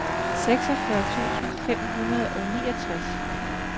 seksogfyrre tusind fem hundrede og niogtres